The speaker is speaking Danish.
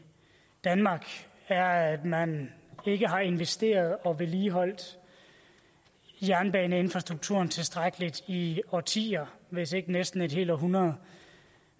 danmark er at man ikke har investeret i og vedligeholdt jernbaneinfrastrukturen tilstrækkeligt i årtier hvis ikke næsten et helt århundrede